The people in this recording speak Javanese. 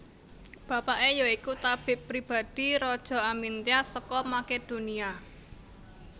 Bapaké ya iku tabib pribadi Raja Amyntas saka Makedonia